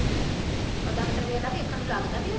ਓ doctor ਵੇਖਲਾ ਵੀ ਅੱਖਾਂ ਨੂੰ ਲੱਗਦਾ ਵੀ ਓ